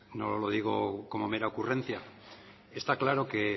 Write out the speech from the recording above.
no lo digo como mera ocurrencia está claro que